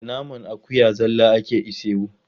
Da naman akuya zalla ake ishewu.